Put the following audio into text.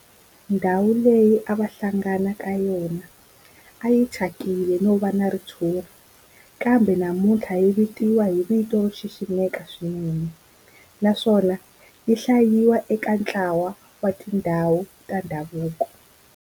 Ndhawu leyi a va hlangana ka yona a yi thyakile no va na ritshuri kambe namuntlha yi vitaniwa hi vito ro xiximeka swinene naswona yi hlayiwa eka ntlawa wa tindhawu ta ndhavuko.